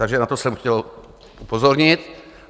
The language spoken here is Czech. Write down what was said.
Takže na to jsem chtěl upozornit.